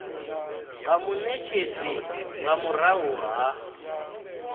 nga munetshedzi nga murahu ha